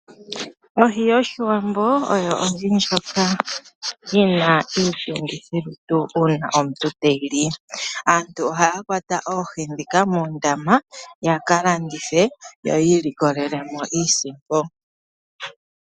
Ohi yoshiwambo oyo ohi ndjoka yina iitungithilutu uuna omuntu te yili. Aantu ohaya kwata Oohi dhika mondama yaka landithe yo yi ilikolele mo iisimpo.